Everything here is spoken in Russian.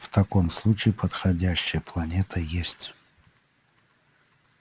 в таком случае подходящая планета есть